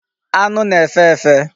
Anu na-efe efe.